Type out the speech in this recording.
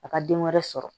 A ka den wɛrɛ sɔrɔ